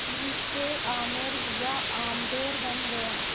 अम्बरीश से आमेर या आम्बेर बन गया